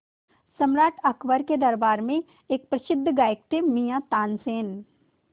सम्राट अकबर के दरबार में एक प्रसिद्ध गायक थे मियाँ तानसेन